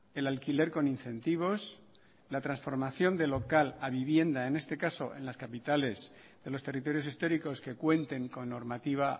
el alquiler con incentivos la transformación de local a vivienda en este caso en las capitales de los territorios históricos que cuenten con normativa